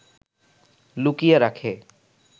লুকিয়ে রাখে